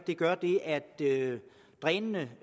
det gør er at drænene